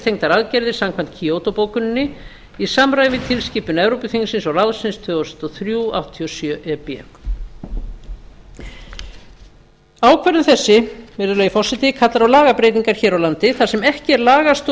verkefnistengdar aðgerðir samkvæmt kyoto bókuninni í samræmi við tilskipun evrópuþingsins og ráðsins tvö þúsund og þrjú áttatíu og sjö e b ákvörðun þessi virðulegi forseti kallar á lagabreytingar hér á landi þar sem ekki er lagastoð í